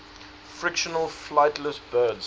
fictional flightless birds